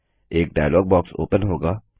एक dialogue box open होगा